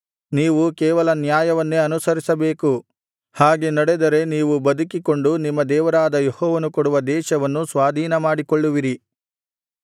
ನೀವು ಕೇವಲ ನ್ಯಾಯವನ್ನೇ ಅನುಸರಿಸಬೇಕು ಹಾಗೆ ನಡೆದರೆ ನೀವು ಬದುಕಿಕೊಂಡು ನಿಮ್ಮ ದೇವರಾದ ಯೆಹೋವನು ಕೊಡುವ ದೇಶವನ್ನು ಸ್ವಾಧೀನಮಾಡಿಕೊಳ್ಳುವಿರಿ